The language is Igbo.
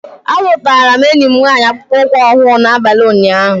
Azụtara m enyi m nwanyị akpụkpọ ụkwụ ọhụrụ n'abalị ụnyaahụ